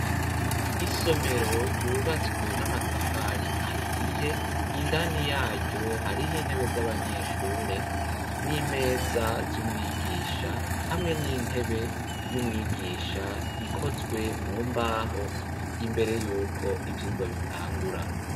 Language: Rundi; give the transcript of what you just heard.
Isomero ryubatswe n'amatafari ahiye, indani yaryo hari intebe z'abanyeshure n'imeza z'umwigisha, hamwe n'intebe y'umwigisha ikozwe mu mbaho, imbere yuko ivyigwa bitangura.